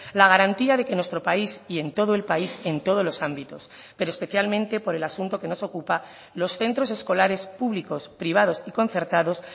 la garantía de que en nuestro país y en todo el país en todos los ámbitos pero especialmente por el asunto que nos ocupa los centros escolares públicos privados y concertados